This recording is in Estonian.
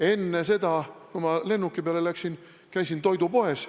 Enne seda, kui ma seal lennuki peale läksin, käisin toidupoes.